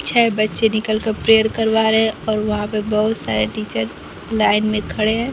छह बच्चे निकल कर प्रेयर करवा रहे हैं और वहां पे बहोत सारे टीचर लाइन में खड़े हैं।